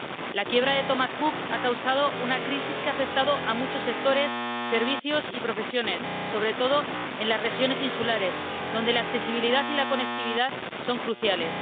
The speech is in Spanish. La quiebra de Thomas Cook ha causado una crisis que ha afectado a muchos sectores, servicios y profesiones, sobre todo en las regiones insulares, donde la accesibilidad y la conectividad son cruciales.